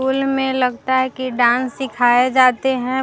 School में लगता है की डांस सिखाये जाते है।